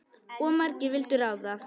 Of margir vildu ráða.